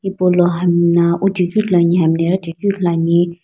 paulo hami no wuchekeu ithuluani hami no ighichekeu ithuluani.